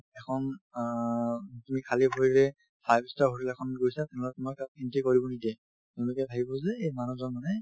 এখন অ তুমি খালি ভৰিৰে five star hotel এখনত গৈছা তেনেহ'লে তোমাক তাত entry কৰিব নিদিয়ে তেওঁলোকে ভাবিব যে এই মানুহজন মানে